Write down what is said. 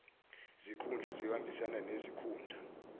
zikhundla ziyohambisana nezikhundla